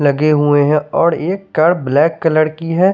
लगे हुए है और एक कार ब्लैक कलर की है।